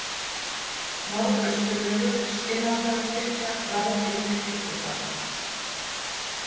Norðausturvegur, Skinnastaðarkirkja, Ráeyri, Litli-Dalur